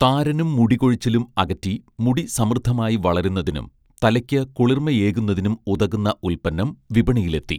താരനും മുടികൊഴിച്ചിലും അകറ്റി മുടി സമൃദ്ധമായി വളരുന്നതിനും തലയ്ക്ക് കുളിർമയേകുന്നതിനും ഉതകുന്ന ഉൽപ്പന്നം വിപണിയിലെത്തി